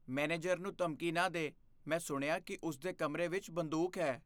manager ਨੂੰ ਧਮਕੀ ਨਾ ਦੇ ਮੈਂ ਸੁਣਿਆ ਕੀ ਉਸ ਦੇ ਕਮਰੇ ਵਿੱਚ ਬੰਦੂਕ ਹੈ